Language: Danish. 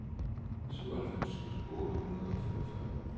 syvoghalvfems tusind otte hundrede og femogfyrre